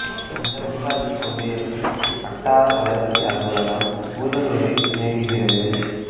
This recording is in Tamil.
இந்த ஊராட்சி ஒன்றியத்தின் வட்டார வளர்ச்சி அலுவலகம் பூதலூரில் இயங்குகிறது